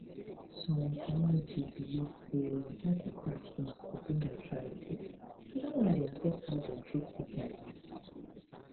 some communities believe say knuckle cracking go bring arthritis and dat one dey affect how dem treat sickness